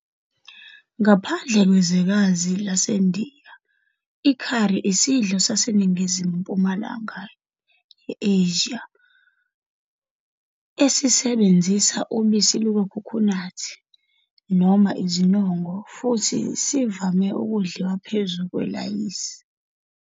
Ngaphandle kwezwekazi laseNdiya, i-curry isidlo saseNingizimu-Mpumalanga ye-Asia esisebenzisa ubisi lukakhukhunathi noma izinongo futhi sivame ukudliwa phezu kwelayisi.